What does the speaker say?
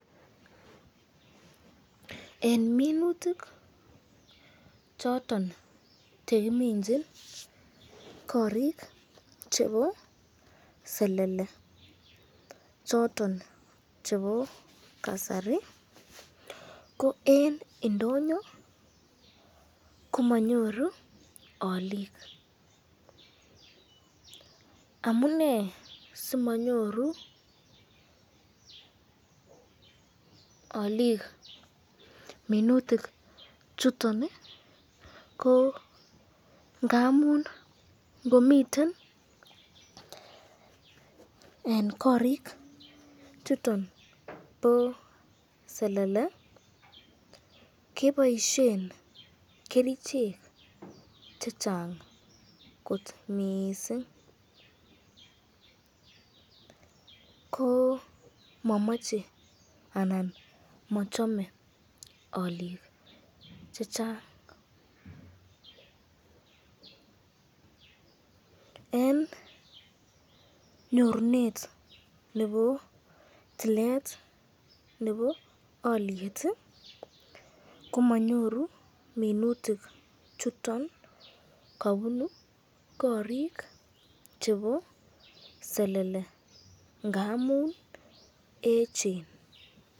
Eng minutik choton chkiminchin korik choton chebo selele choton chebo kasari, ko eng indoyo komanyoru alik, amune simanyoru alikua minutik chuton ko ngamun ngomiten eng korik chuton bo selele keboisyen kerichek chechang kot mising, ko mamache anan machame olik chechang ,eng nyorunet nebo toilet nebo alyet komanyoru minutik chuton kabunu korik chebo selele ngamun echen.